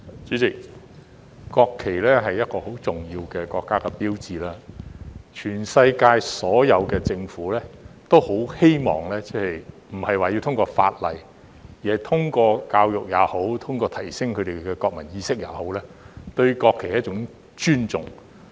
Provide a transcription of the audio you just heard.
主席，國旗是很重要的國家標誌，全世界所有的政府也很希望，並非一定是通過法例，而是通過教育也好、通過提升市民的國民意識也好，令市民尊重國旗。